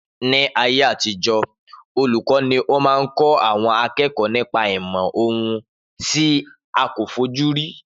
Ni ayé àtijọ́ olùkọ́ ni ó máa ń kó àwọn akẹ́kọ̀ọ́ nípa ìmò ohun tí a kò fojú rí